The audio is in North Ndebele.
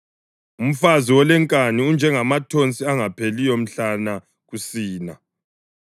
Umfazi olenkani unjengamathonsi angapheliyo mhlana kusina;